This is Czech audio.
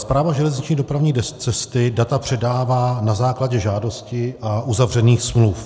Správa železniční dopravní cesty data předává na základě žádosti a uzavřených smluv.